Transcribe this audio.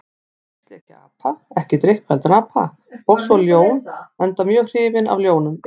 Fyrst lék ég apa, ekki drykkfelldan apa, og svo ljón, enda mjög hrifinn af ljónum.